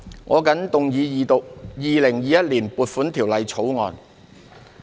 我謹動議二讀《2021年撥款條例草案》。